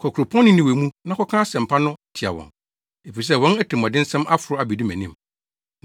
“Kɔ kuropɔn Ninewe mu na kɔka asɛmpa no tia wɔn, efisɛ wɔn atirimɔdensɛm aforo abedu mʼanim.”